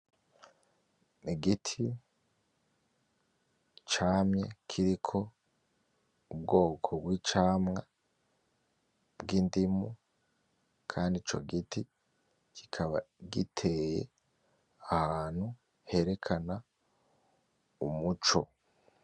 Igiti camye kiriko ubwoko bw'icamwa bw'indimu, kandi co giti kikaba giteye hantu herekana umuco.